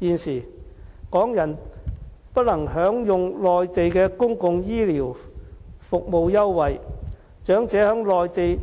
現時，港人不能享用內地的公共醫療服務優惠，長者在內地